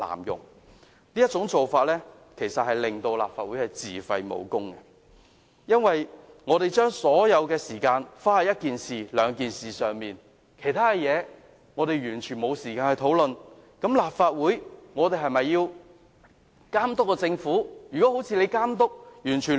這種做法其實是會令立法會自廢武功，我們把所有時間花在一兩件事情上，完全沒有時間討論其他事項，那麼，立法會是否還能夠監督政府呢？